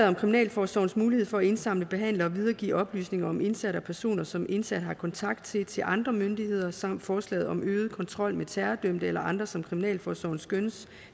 om kriminalforsorgens mulighed for at indsamle behandle og videregive oplysninger om indsatte og personer som indsatte har kontakt til til andre myndigheder samt forslaget om øget kontrol med terrordømte eller andre som kriminalforsorgen skønner